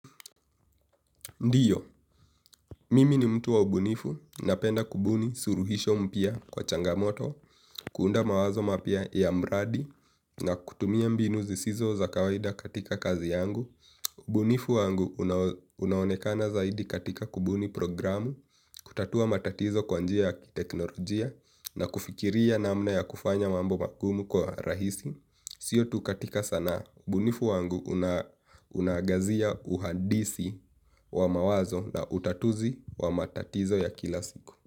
Ndiyo, mimi ni mtu wa ubunifu napenda kubuni suluhisho mpya kwa changamoto, kuunda mawazo mapya ya mradi na kutumia mbinu zisizo za kawaida katika kazi yangu. Ubunifu wangu unaonekana zaidi katika kubuni programu, kutatua matatizo kwa njia ya teknolojia na kufikiria namna ya kufanya mambo magumu kwa rahisi. Siyo tu katika sana bunifu wangu unagazia uhadisi wa mawazo na utatuzi wa matatizo ya kila siku.